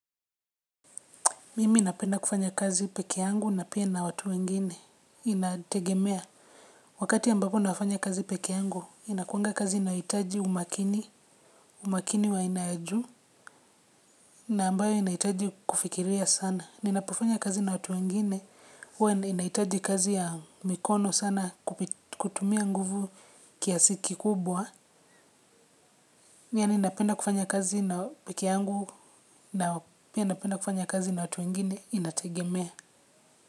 Mimi napenda kufanya kazi pekeangu na pia na watu wengine inategemea. Wakati ambapo nafanya kazi pekeangu, inakuanga kazi inaitaji umakini, umakini wa aina ya juu na ambayo inahitaji kufikiria sana. Ninaofanya kazi na watu wengine, huwa ninaitaji kazi ya mikono sana kutumia nguvu kiasi kikubwa. Yaani ninapenda kufanya kazi na pekeangu na pia napenda kufanya kazi na watu wengine inategemea.